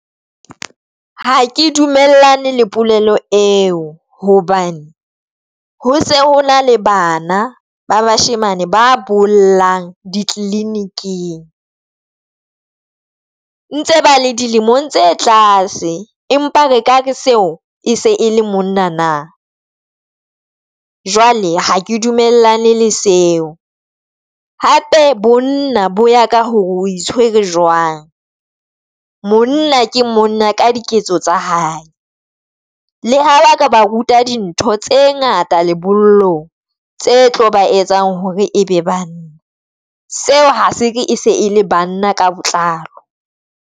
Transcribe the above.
Ha ke dumellane le polelo eo hobane ho se o na le bana ba bashemane ba bollang ditliliniking ntse bale dilemong tse tlase. Empa re ka re seo e se e le monna nna jwale ha ke dumellane le seo. Hape bonna bo ya ka hore o e tshwere jwang monna ke monna ka diketso tsa hae. Le ha ba ka ba ruta dintho tse ngata lebollong tse tlo ba etsang hore e be banna seo ha se re e se e ele banna ka botlalo.